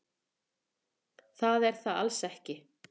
Það er það alls ekki.